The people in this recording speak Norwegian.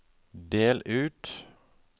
del ut